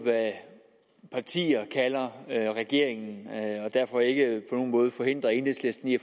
hvad partier kalder regeringen og derfor ikke på nogen måde forhindre enhedslisten i